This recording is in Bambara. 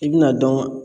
I bɛna dɔn